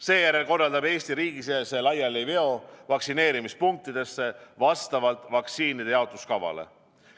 Seejärel korraldab Eesti riigisisese laialiveo vaktsineerimispunktidesse vastavalt vaktsiinide jaotamise kavale.